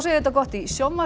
þetta gott í